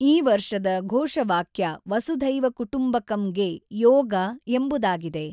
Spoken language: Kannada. ಈ ವರ್ಷದ ಘೋಷವಾಕ್ಯ ವಸುಧೈವ ಕುಟುಂಬಕಂಗೆ ಯೋಗ ಎಂಬುದಾಗಿದೆ